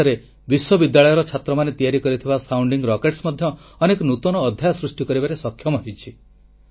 ଓଡ଼ିଶାରେ ବିଶ୍ୱବିଦ୍ୟାଳୟ ଛାତ୍ରମାନେ ତିଆରି କରିଥିବା ସାଉଣ୍ଡିଂ ରକେଟ୍ସ ମଧ୍ୟ ଅନେକ ନୂତନ ଅଧ୍ୟାୟ ସୃଷ୍ଟି କରିବାରେ ସକ୍ଷମ ହୋଇଛି